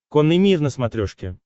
конный мир на смотрешке